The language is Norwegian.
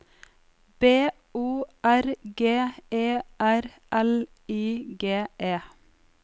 B O R G E R L I G E